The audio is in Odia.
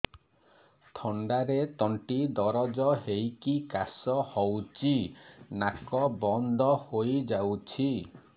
ଥଣ୍ଡାରେ ତଣ୍ଟି ଦରଜ ହେଇକି କାଶ ହଉଚି ନାକ ବନ୍ଦ ହୋଇଯାଉଛି